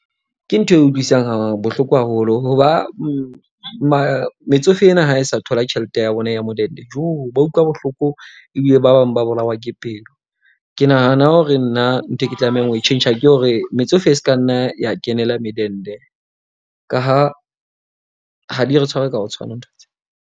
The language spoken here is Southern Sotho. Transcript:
Ke ntho e utlwisang bohloko haholo hoba metsofe ena ha e sa thola tjhelete ya bona ya modende ba utlwa bohloko ebile ba bang ba bolawa ke pelo. Ke nahana hore nna nthwe ke tlamehang ho e tjhentjha ke hore, metsofe e se ka nna ya kenela medende ka ha ha di re tshware ka ho tshwana ntho tse.